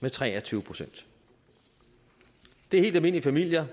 med tre og tyve procent det er helt almindelige familier